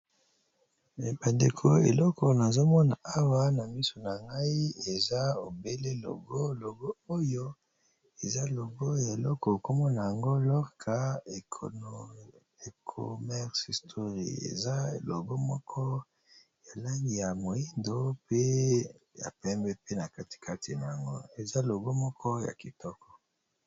bandeko eleko nazomona awa na miso na ngai eza ebele logo logo oyo eza logo ya eloko ekomona yango lorka ecomerce historie eza logo moko ya langi ya moindo pe ya pembe pe na katikati na yango eza logo moko ya kitoko